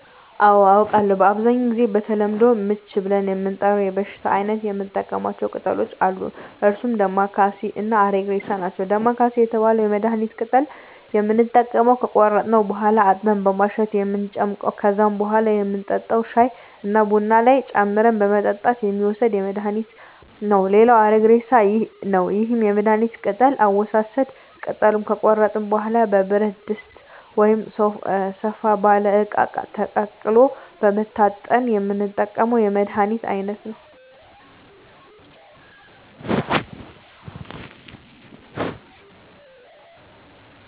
አዎ አውቃለሁ በአብዛኛው ጊዜ በተለምዶ ምች ብለን ለምንጠራው የበሽታ አይነት የምንጠቀማቸው ቅጠሎች አሉ እነርሱም ዳማከሴ እና አረግሬሳ ናቸው ዳማከሴ የተባለውን የመድሀኒት ቅጠል የምንጠቀመው ከቆረጥን በኋላ አጥበን በማሸት እንጨምቀዋለን ከዛም በኋላ የምንጠጣው ሻይ ወይም ቡና ላይ ጨምረን በመጠጣት የሚወሰድ የመድሀኒት አይነት ነው ሌላው አረግሬሳ ነው ይህም የመድሀኒት ቅጠል አወሳሰድ ቅጠሉን ከቆረጥን በኋላ በብረት ድስት ወይም ሰፋ ባለ እቃ ተቀቅሎ በመታጠን የምንጠቀመው የመድሀኒት አይነት ነው